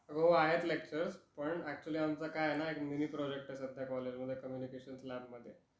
हो आहेत लेक्चर्स, पण ऍक्च्यूअल्ली आमच काय आहेना एक मिनी प्रोजेक्ट आहे सध्या कॉलेजमध्ये, कम्युनिकेशन्स लॅब मध्ये.